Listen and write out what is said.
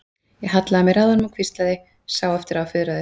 Ég hallaði mér að honum og hvíslaði, sá eftir að hafa fuðrað upp.